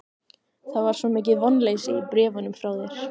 Það var svo mikið vonleysi í bréfunum frá þér.